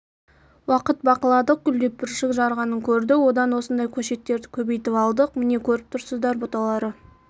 уақыт бақыладық гүлдеп бүршік жарғанын көрдік одан осындай көшеттерді көбейтіп алдық міне көріп тұрсыздар бұталары